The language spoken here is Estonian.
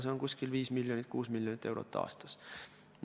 See on umbes 5–6 miljonit eurot aastas.